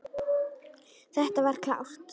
Þetta var klárt.